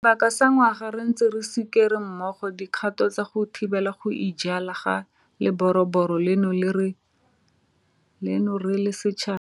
Sebaka sa ngwaga re ntse re sikere mmogo dikgato tsa go thibela go ijala ga leroborobo leno re le setšhaba.